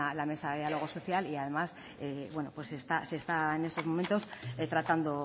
la mesa de diálogo social y además bueno pues se está en estos momentos tratando